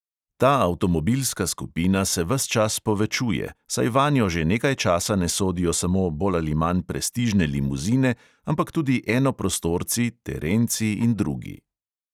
Ta avtomobilska skupina se ves čas povečuje, saj vanjo že nekaj časa ne sodijo samo bolj ali manj prestižne limuzine, ampak tudi enoprostorci, terenci in drugi.